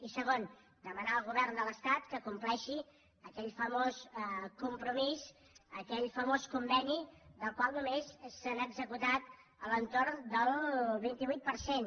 i segon demanar al govern de l’estat que compleixi aquell famós compromís aquell famós conveni del qual només se n’ha executat a l’entorn del vint vuit per cent